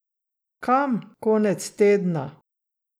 Kam konec tedna?